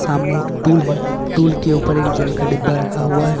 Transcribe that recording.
सामने एक टूल है टूल के ऊपर एक जल का डिब्बा रखा हुआ है।